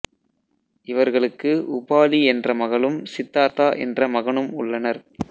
இவர்களுக்கு உபாலி என்ற மகளும் சித்தார்த்தா என்ற மகனும் உள்ளனர்